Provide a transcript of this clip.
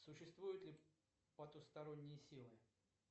существуют ли потусторонние силы